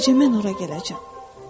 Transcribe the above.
Bu gecə mən ora gələcəm.